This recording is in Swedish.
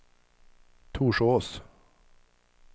Torsås